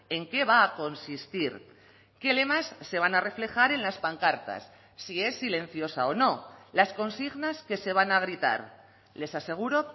en qué va a consistir qué lemas se van a reflejar en las pancartas si es silenciosa o no las consignas que se van a gritar les aseguro